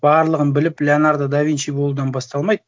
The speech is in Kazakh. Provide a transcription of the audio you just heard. барлығын біліп леонардо да винчи болудан басталмайды